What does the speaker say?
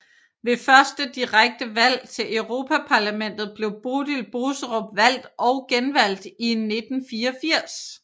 Ved første direkte valg til Europaparlamentet blev Bodil Boserup valgt og genvalgt i 1984